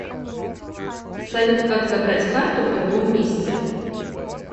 салют как забрать карту в другом месте